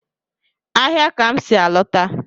Ahịa ka m si a lọta.